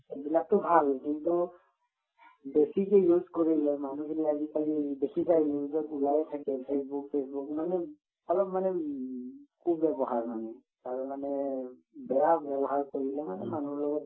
এইবিলাকটো ভাল কিন্তু বেছিকে use কৰিলে মানুহবোৰে আজিকালি বেছিভাগ news ত ওলায়ে থাকে ফেচবুক চেচবুক মানে অলপ মানে উম কু-ব্যৱহাৰ মানে তাৰ মানে বেয়া ব্যৱহাৰ কৰিলে মানে মানুহৰ লগতও